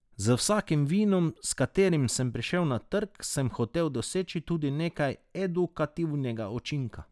Z vsakim vinom, s katerim sem prišel na trg, sem hotel doseči tudi nekaj edukativnega učinka.